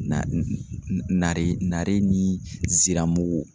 Na n n nare nare ni ziramugu